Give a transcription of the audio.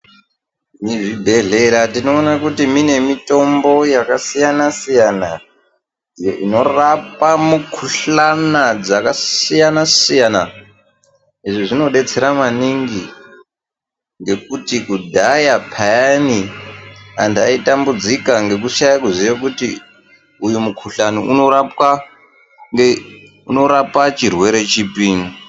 Muzvibhedhlera tinoona kuti mine mitombo yakasiyana siyana inorapa mikuhlana dzakasiyana siyana izvi zvinodetsera dzakasiyana siyana izvi zvinodetsera maningi ngekuti kudhaya peyani anthu aitambudzika ngekushaya kuziye kuti uyu mukuhlani unorapa chirwere chipi.